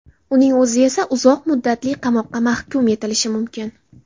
Uning o‘zi esa uzoq muddatli qamoqqa mahkum etilishi mumkin.